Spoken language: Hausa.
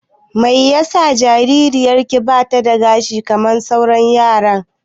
Mai yasa yarinyar ki bata da gashi kamar sauran yaran?